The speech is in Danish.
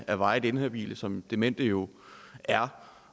af varigt inhabile som demente jo er